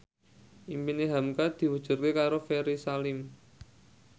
impine hamka diwujudke karo Ferry Salim